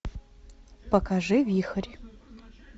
покажи вихрь